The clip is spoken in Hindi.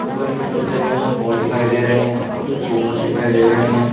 ऊपर की तरफ जमे हुए फोन दिखाई दे रहे हैं और कुछ बूफर दिखाई दे रहे हैं।